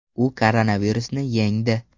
U koronavirusni yengdi.